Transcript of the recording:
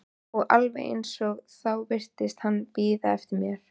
Og alveg eins og þá virtist hann bíða eftir mér.